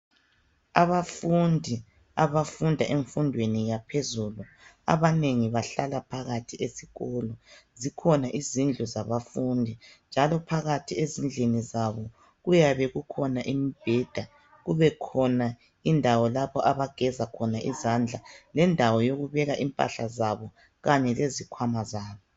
Abafundi abafunda emfundweni yaphezulu abanengi bahlala phakathi esikolo. Zikhona izindlu zabafundi njalo phakathi ezindlini zabo kuyabe kukhona imbheda, kubekhona indawo lapho abageza khona izandla lendawo yokubeka impahla zabo kanye lezikhwama zabo.